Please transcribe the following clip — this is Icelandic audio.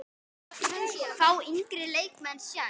Fá yngri leikmenn séns?